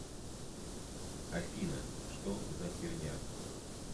афина что за херня